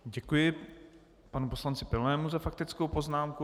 Děkuji panu poslanci Pilnému za faktickou poznámku.